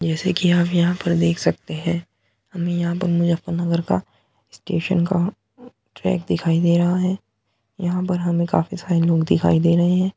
जैसे कि आप यहाँ पर देख सकते हैं हमें यहाँ पर मुजफ्फर नगर का स्टेशन का ट्रैक दिखाई दे रहा है। यहाँ पर हमें काफी सारे लोग दिखाई दे रहे हैं।